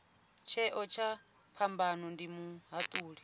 tsheo kha phambano ndi muhatuli